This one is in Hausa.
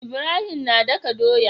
Ibrahim na daka doya